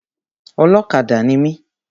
Ọlọ́kadà ni mi.